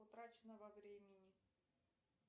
утрачено во времени